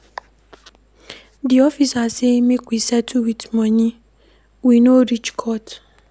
Di officer sey make we settle wit moni, we no reach court.